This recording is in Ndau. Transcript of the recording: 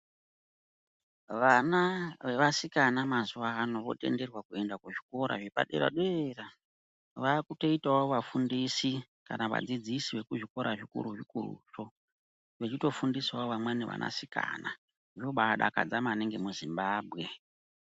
Vana vevasikana mazuva ano votenderwa kuenda kuzvikora zvepadera-dera, vakutoitavo vafundisi kana vadzidzisi vekuzvikora zvikuru-zvikuruzvo. Vechitofundisavo vamweni vanasikana zvinoba dakadza maningi muzimbambwe.